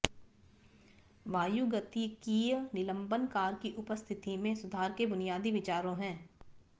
वायुगतिकीय निलंबन कार की उपस्थिति में सुधार के बुनियादी विचारों है